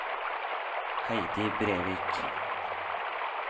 Heidi Brevik